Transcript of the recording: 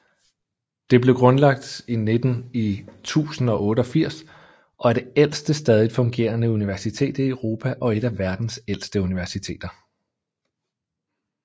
Det blev grundlagt i 1088 og er det ældste stadigt fungerende universitet i Europa og et af verdens ældste universiteteter